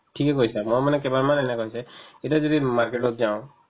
ঠিকে কৈছা মই মানে কেইবাৰমান এনেকুৱা হৈছে এতিয়া যদি market তত যাওঁ